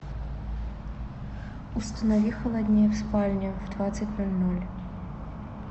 установи холоднее в спальне в двадцать ноль ноль